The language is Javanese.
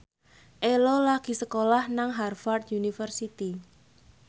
Ello lagi sekolah nang Harvard university